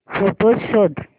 photos शोध